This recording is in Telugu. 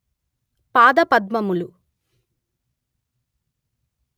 పాదపద్మములు